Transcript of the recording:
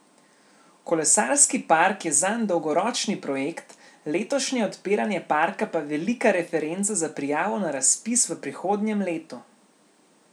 Kolesarski park je zanj dolgoročni projekt, letošnje odpiranje parka pa velika referenca za prijavo na razpis v prihodnjem letu.